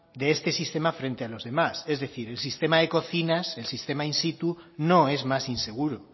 de este sistema frente a los demás es decir el sistema de cocinas el sistema in situ no es más inseguro